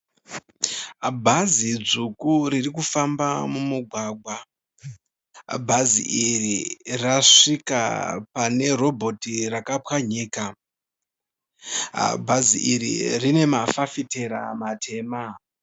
Bhazi dzvuku ririkufamba mumugwagwa, bhazi iri rasvika pane robhoti rakapwanyika. Bhazi iri rine mafafitera matema.